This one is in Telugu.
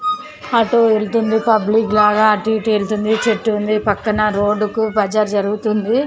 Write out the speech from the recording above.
ఆటో వెళ్తుంది పబ్లిక్ లాగా అటు ఇటు వెళుతుంది. చెట్టు ఉంది పక్కన రోడ్డు కు బజారు జరుగుతుంది.